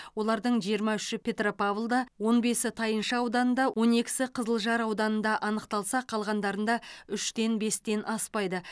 олардың жиырма үші петропавлда он бесі тайынша ауданында он екісі қызылжар ауданында анықталса қалғандарында үштен бестен аспайды